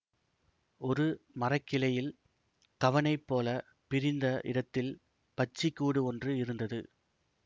ஒரு மரக்கிளையில் கவணை போல பிரிந்த இடத்தில் பட்சிக் கூடு ஒன்று இருந்தது